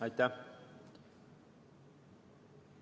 Aitäh!